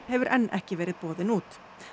hefur enn ekki verið boðinn út